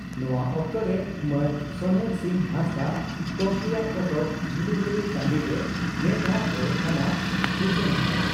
ᱱᱚᱣᱟ ᱚᱠᱛᱚᱨᱮ ᱢᱟᱱ ᱥᱚᱱᱮᱨᱥᱤᱝ ᱦᱟᱸᱥᱫᱟᱜ ᱜᱚᱢᱠᱮᱭᱟᱜ ᱯᱚᱛᱚᱵ 'ᱡᱷᱤᱞᱤᱢᱤᱞᱤ ᱴᱟᱺᱰᱤᱨᱮ ᱢᱮᱫ ᱫᱟᱜ ᱡᱚᱨᱚᱜ ᱠᱟᱱᱟ' ᱩᱪᱷᱟᱹᱱ ᱟᱠᱟᱱᱟ ᱾